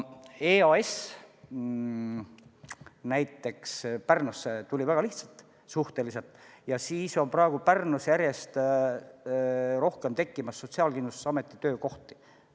EAS näiteks tuli Pärnusse suhteliselt lihtsalt ja praegu on Pärnus järjest rohkem tekkimas Sotsiaalkindlustusameti töökohti.